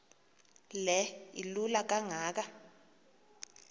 le ilola kangaka